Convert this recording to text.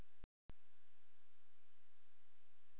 Kristján Örn Sigurðsson Ekki erfiðasti andstæðingur?